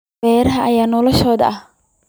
Beeraha ayaa noloshiisu u ahayd.